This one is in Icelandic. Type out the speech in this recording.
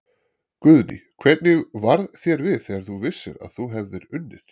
Guðný: Hvernig varð þér við þegar þú vissir að þú hefði unnið?